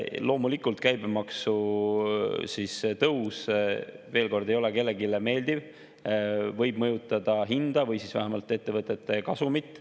Loomulikult käibemaksu tõus, veel kord, ei ole kellelegi meeldiv, see võib mõjutada hinda või siis vähemalt ettevõtete kasumit.